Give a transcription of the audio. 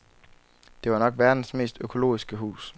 Det var nok verdens mest økologiske hus.